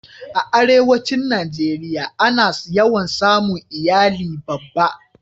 a arewacin najeriya a na yawan samun iyali babba